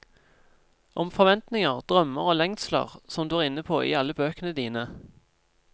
Om forventninger, drømmer og lengsler, som du er inne på i alle bøkene dine.